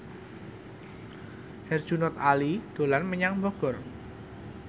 Herjunot Ali dolan menyang Bogor